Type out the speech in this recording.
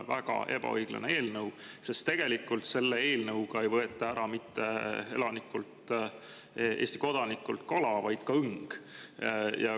Väga ebaõiglane, sest tegelikult sellega ei võeta Eesti elanikult, kodanikult ära mitte ainult kala, vaid ka õng.